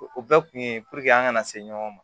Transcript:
O bɛɛ kun ye an kana se ɲɔgɔn ma